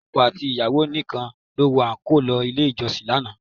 Ọkọ àti ìyàwó nìkan ló wọ àńkò lọ ilé ìjọsìn lánàá